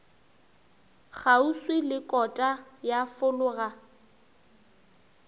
kgauswi le kota ya folaga